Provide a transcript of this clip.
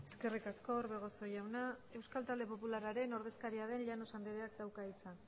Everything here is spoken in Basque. eskerrik asko orbegozo jauna euskal talde popularraren ordezkaria den llanos andreak dauka hitza